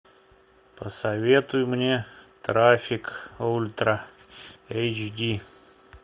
посоветуй мне трафик ультра эйч ди